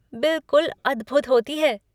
बिलकुल अद्भुत होती है।